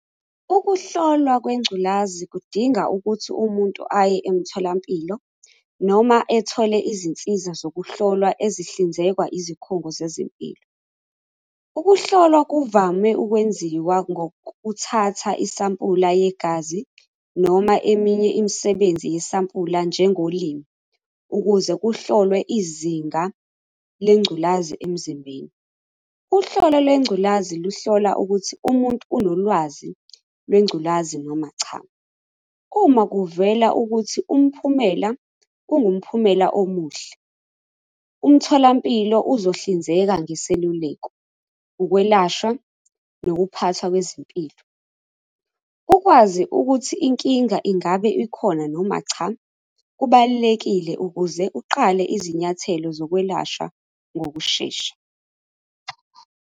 Ukuhlolwa kwengculazi kudinga ukuthi umuntu aye emtholampilo noma ethole izinsiza zokuhlolwa ezihlinzekwa izikhungo zezempilo. Ukuhlolwa kuvame ukwenziwa ngokuthatha isampula yegazi noma eminye imisebenzi yesampula njengolimi, ukuze kuhlolwe izinga lengculazi emzimbeni. Uhlolo lwengculazi luhlola ukuthi umuntu unolwazi lwengculazi noma cha. Uma kuvela ukuthi umphumela, ungumphumela omuhle, umtholampilo uzohlinzeka ngeseluleko, ukwelashwa, nokuphathwa kwezimpilo. Ukwazi ukuthi inkinga ingabe ikhona noma cha, kubalulekile ukuze uqale izinyathelo zokwelashwa ngokushesha.